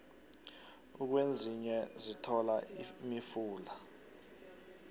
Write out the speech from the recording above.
ukwezinye sithola imifula